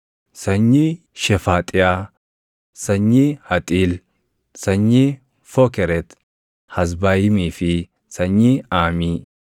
sanyii Shefaaxiyaa, sanyii Haxiil, sanyii Fookeret-Hazbaayimii fi sanyii Aamii;